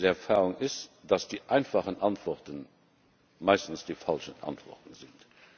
Die Lebenserfahrung ist, dass die einfachen Antworten meistens die falschen Antworten sind.